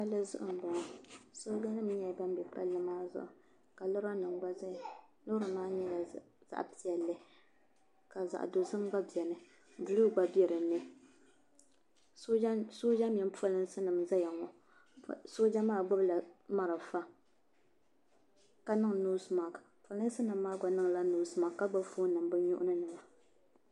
Palli zuɣu m boŋɔ sooja nima nyɛla ban be palli maa zuɣu ka lora nima gba zaya loori maa nyɛla zaɣa piɛlli ka zaɣa dozim gba biɛni buluu gba be dinni sooja nima mini polinsi n zaya ŋɔ sooja maa gbibila marafa ka niŋ noosi maasi polinsi nima gba niŋla noosi maasi ka gbibi fooni nima bɛ nuhini.